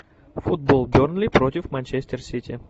футбол бернли против манчестер сити